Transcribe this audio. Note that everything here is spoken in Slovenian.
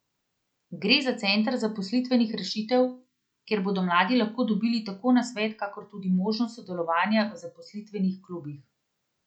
Gre za Center zaposlitvenih rešitev, kjer bodo mladi lahko dobili tako nasvet kakor tudi možnost sodelovanja v zaposlitvenih klubih.